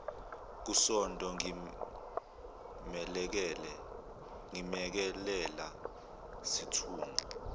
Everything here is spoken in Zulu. kusonto ngimelekelela sithunga